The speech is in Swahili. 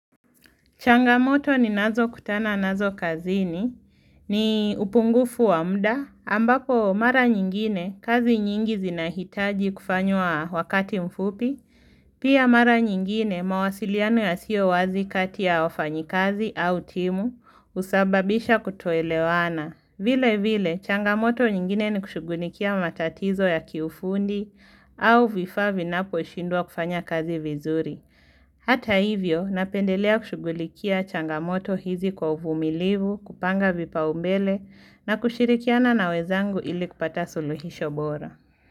Changamoto ninazo kutana nazo kazini, ni upungufu wa muda, ambako mara nyingine kazi nyingi zinahitaji kufanywa wakati mfupi, pia mara nyingine mawasiliano yasiyo wazi kati ya wafanyi kazi au timu husababisha kutoelewana. Vile vile, changamoto nyingine ni kushugulikia matatizo ya kiufundi au vifaa vinapo shindwa kufanya kazi vizuri. Hata hivyo, napendelea kushugulikia changamoto hizi kwa uvumilivu, kupanga vipa umbele na kushirikiana na wezangu ili kupata suluhisho bora.